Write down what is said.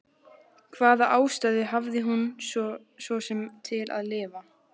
Hvaða ástæðu hafði hún svo sem til að lifa?